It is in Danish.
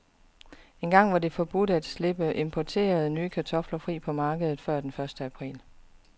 Engang var det forbudt at slippe importerede, nye kartofler fri på markedet før den første april.